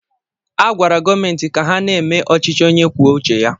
A gwara gọọmenti ka ha na-eme ọchịchị onye kwuo uche ya.